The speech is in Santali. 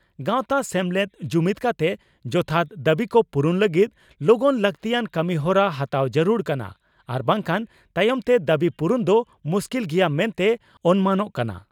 ᱜᱟᱣᱛᱟ/ᱥᱮᱢᱞᱮᱫ ᱡᱩᱢᱤᱫᱽ ᱠᱟᱛᱮ ᱡᱚᱛᱷᱟᱛ ᱫᱟᱹᱵᱤᱠᱚ ᱯᱩᱨᱩᱱ ᱞᱟᱹᱜᱤᱫ ᱞᱚᱜᱚᱱ ᱞᱟᱜᱛᱤᱭᱟᱱ ᱠᱟᱹᱢᱤᱦᱚᱨᱟ ᱦᱟᱛᱟᱣ ᱡᱟᱹᱨᱩᱲ ᱠᱟᱱᱟ ᱟᱨ ᱵᱟᱝᱠᱷᱟᱱ ᱛᱟᱭᱚᱢᱛᱮ ᱫᱟᱹᱵᱤ ᱯᱩᱨᱩᱱ ᱫᱚ ᱢᱩᱥᱠᱤᱞ ᱜᱮᱭᱟ ᱢᱮᱱᱛᱮ ᱚᱱᱢᱟᱱᱚᱜ ᱠᱟᱱᱟ ᱾